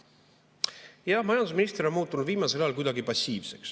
Jah, majandusminister on muutunud viimasel ajal kuidagi passiivseks.